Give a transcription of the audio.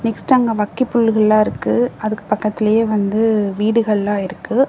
Next அங்க வக்க புல்லுகள்லா இருக்கு அதுக்கு பக்கத்துலயே வந்து வீடுகள்லா இருக்கு.